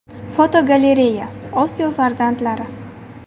Fotogalereya: Osiyo farzandlari.